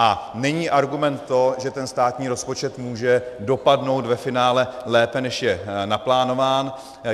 A není argument to, že ten státní rozpočet může dopadnout ve finále lépe, než je naplánován.